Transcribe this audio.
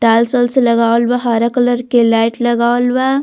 Tiles उल्स लगावल बा हरा कलर के लाइट लगावल बा।